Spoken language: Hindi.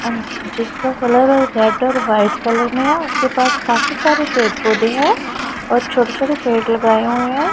अह जिसका कलर रेड और व्हाइट कलर में है उसके पास काफी सारे पेड़ पौधे हैं और छोटे छोटे पेड़ लगाए हुए हैं।